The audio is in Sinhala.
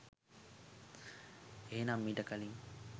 එහෙමනම් ඊට කලින්